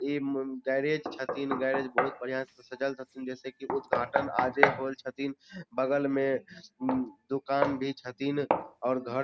इ हम्म गेराज छथीन गेराज बहुत बढ़िया से सजल छथीन जैसे की उदघाटन आजे होयल छथीन बगल मे उम्म दुकान भी छथीन और घर --